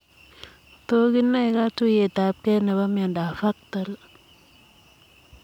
Tos kinaee katuiyet ab gei nepoo miondoop VACTAL ?